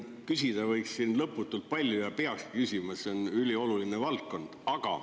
Küsida võiks siin lõputult palju ja peakski küsima, see on ülioluline valdkond.